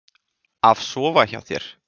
Af sofa hjá þér?